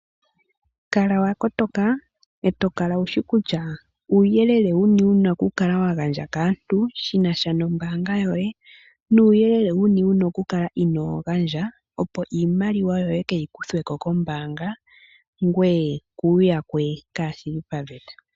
Kala wa kotoka. Eto kala wushi kutya uuyelele wuni wuna okukala wa gandja kaantu shina sha nombaanga yoye. Nuuyelele wuni wuna okukala inoo gandja opo iimaliwa yoye kaayi kuthwe ko kombaanga ngoye kuuyakwe kaashili paveta.